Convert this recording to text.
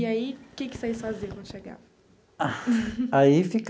E aí, o que que vocês faziam quando chegavam? Ah aí fica.